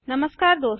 नमस्कार दोस्तों